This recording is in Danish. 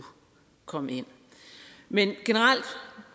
komme ind men generelt